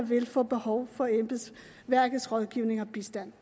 ville få behov for embedsværkets rådgivning og bistand